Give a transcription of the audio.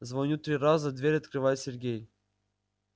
звоню три раза дверь открывает сергей